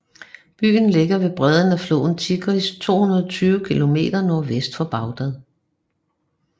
Byen ligger ved bredden af floden Tigris 220 km nordvest for Bagdad